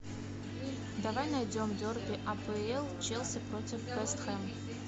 давай найдем дерби апл челси против вест хэм